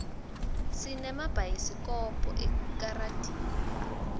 sinemabhayisikobho ekaradi